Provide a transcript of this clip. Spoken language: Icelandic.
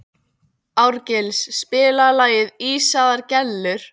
Árgils, spilaðu lagið „Ísaðar Gellur“.